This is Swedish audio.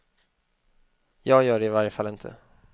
Jag gör det i varje fall inte.